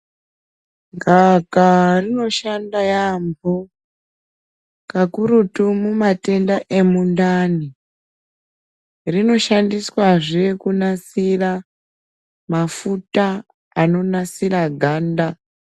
Gava kava rino shanda yambo ka kurutu mu matenda emundani rino shandiswa zvee kunasira mafuta ano nasira ganda.